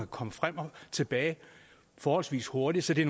komme frem og tilbage forholdsvis hurtigt så det